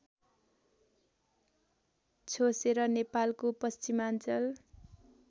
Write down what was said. छोसेर नेपालको पश्चिमाञ्चल